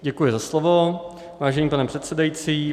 Děkuji za slovo, vážený pane předsedající.